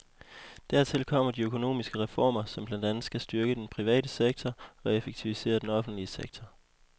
Dertil kommer de økonomiske reformer, som blandt andet skal styrke den private sektor og effektivisere den offentlige sektor.